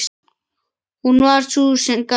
Hún var sú sem gaf.